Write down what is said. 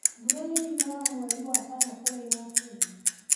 Mbura nĩ yuraga mweri wa kana kũrĩa Kenya.